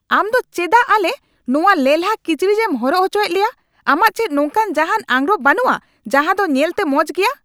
ᱟᱢ ᱫᱚ ᱪᱮᱫᱟᱜ ᱟᱞᱮ ᱱᱚᱣᱟ ᱞᱮᱞᱦᱟ ᱠᱤᱪᱨᱤᱡᱮᱢ ᱦᱚᱨᱚᱜ ᱚᱪᱚᱭᱮᱫ ᱞᱮᱭᱟ ? ᱟᱢᱟᱜ ᱪᱮᱫ ᱱᱚᱝᱠᱟᱱ ᱡᱟᱦᱟᱱ ᱟᱸᱜᱨᱚᱯ ᱵᱟᱹᱱᱩᱜᱼᱟ ᱡᱟᱦᱟ ᱫᱚ ᱧᱮᱞᱛᱮ ᱢᱚᱸᱡ ᱜᱮᱭᱟ ?